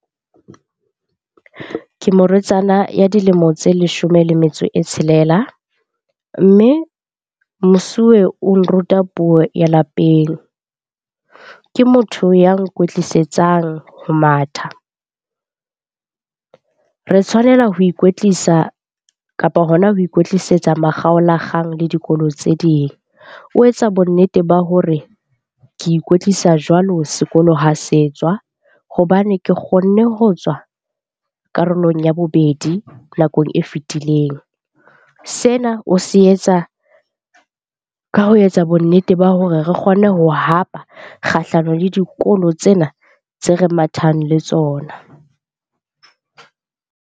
Ke morwetsana ya dilemo tse leshome le metso e tshelela. Mme mosuwe o nruta puo ya lapeng, ke motho ya nkwetlisetsang ho matha. Re tshwanela ho ikwetlisa kapa hona ho ikwetlisetsa makgaolakgang le dikolo tse ding. O etsa bonnete ba hore ke ikwetlisa jwalo sekolo ha se tswa hobane ke kgonne ho tswa karolong ya bobedi nakong e fetileng. Sena o se etsa ka ho etsa bonnete ba hore re kgone ho hapa kgahlano le dikolo tsena tse re mathang le tsona.